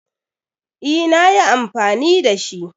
Yes, i used it.